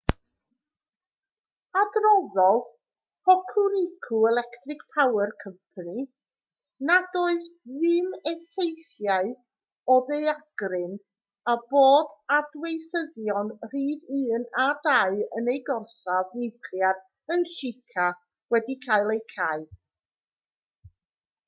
adroddodd hokuriku electric power co nad oedd dim effeithiau o'r ddaeargryn a bod adweithyddion rhif 1 a 2 yn eu gorsaf niwclear yn shika wedi cael eu cau